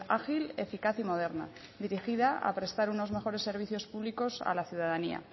ágil eficaz y moderna dirigida a prestar unos mejores servicios públicos a la ciudadanía